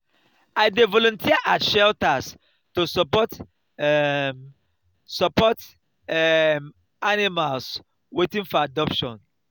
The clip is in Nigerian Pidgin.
i dey volunteer at shelters to support um support um animals waiting for adoption.